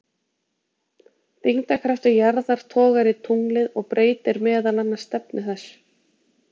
Þyngdarkraftur jarðar togar í tunglið og breytir meðal annars stefnu þess.